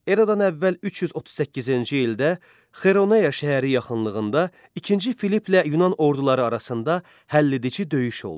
Eradan əvvəl 338-ci ildə Kaironeya şəhəri yaxınlığında İkinci Filipplə Yunan orduları arasında həlledici döyüş oldu.